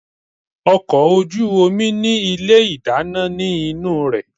Ọkọ̀ ojú omi ní ilé ìdáná nínú rẹ̀.